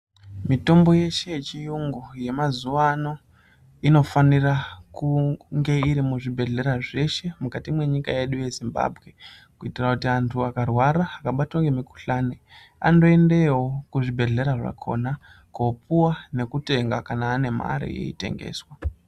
Mitombo yeshe yechiyungu yemazuva ano, inofanira kunge irimuzvibhedhlera zveshe munyika yedu yeZimbabwe kuitira kuti antu akarwara, akabatwa ngemikhuhlani andoendeyowo kuzvibhedhlera zvakhona koopuwa nekutenga kana anemare yeitengeswa.